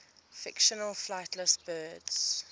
fictional flightless birds